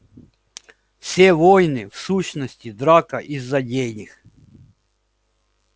все войны в сущности драка из-за денег